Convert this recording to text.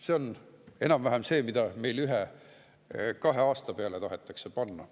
See on enam-vähem see, mida meil ühe-kahe aastaga sinna tahetakse panna.